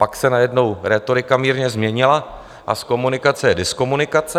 Pak se najednou rétorika mírně změnila a z komunikace je diskomunikace.